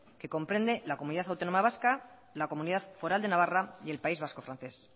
que comprende la comunidad autónoma vasca la comunidad foral de navarra y el país vasco francés